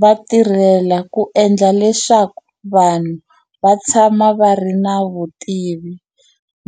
Va tirhela ku endla leswaku vanhu va tshama vari na vutivi